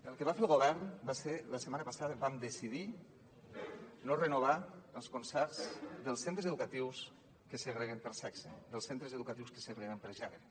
el que va fer el govern va ser la setmana passada vam decidir no renovar els concerts dels centres educatius que segreguen per sexe dels centres educatius que segreguen per gènere